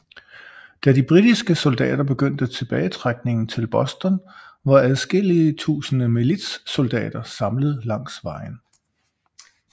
Da de britiske soldater begyndte tilbagetrækningen til Boston var adskillige tusinde militssoldater samlet langs vejen